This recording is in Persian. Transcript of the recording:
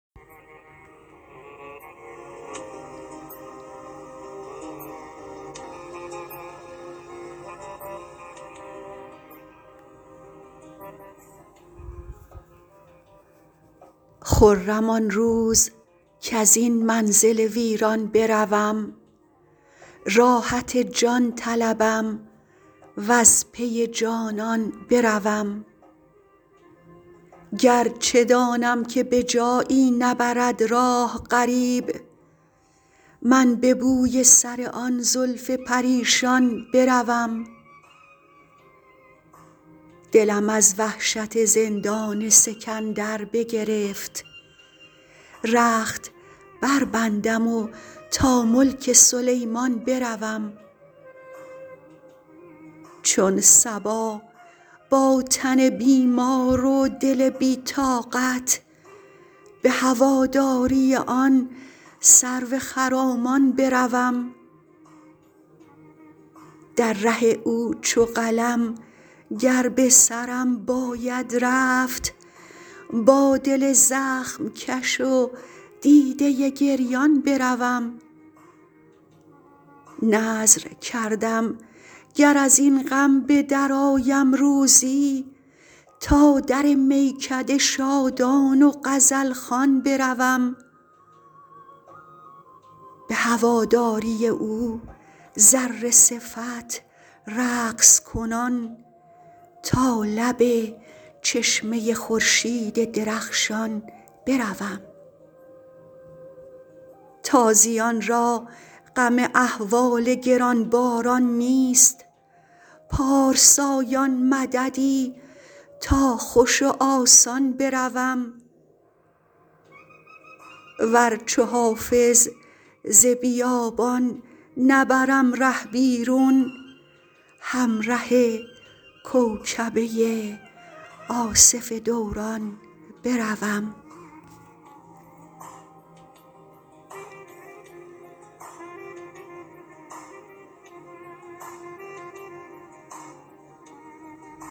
خرم آن روز کز این منزل ویران بروم راحت جان طلبم و از پی جانان بروم گر چه دانم که به جایی نبرد راه غریب من به بوی سر آن زلف پریشان بروم دلم از وحشت زندان سکندر بگرفت رخت بربندم و تا ملک سلیمان بروم چون صبا با تن بیمار و دل بی طاقت به هواداری آن سرو خرامان بروم در ره او چو قلم گر به سرم باید رفت با دل زخم کش و دیده گریان بروم نذر کردم گر از این غم به درآیم روزی تا در میکده شادان و غزل خوان بروم به هواداری او ذره صفت رقص کنان تا لب چشمه خورشید درخشان بروم تازیان را غم احوال گران باران نیست پارسایان مددی تا خوش و آسان بروم ور چو حافظ ز بیابان نبرم ره بیرون همره کوکبه آصف دوران بروم